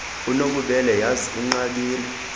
unobubele yhazi inqabile